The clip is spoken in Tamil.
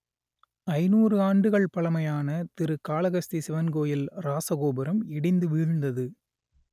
ஐநூறு ஆண்டுகள் பழமையான திரு காளகஸ்தி சிவன் கோயில் இராசகோபுரம் இடிந்து வீழ்ந்தது